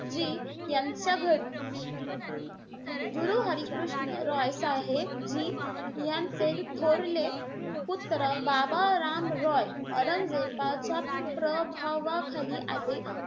जी यांच्या घरी. गुरु हरी कृष्ण रॉय साहेबजी यांचे थोरले पुत्र बाबा राम रॉय औरंगजेबाच्या प्रभावाखाली आले.